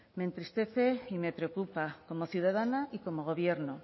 me entristece y me preocupa como ciudadana y como gobierno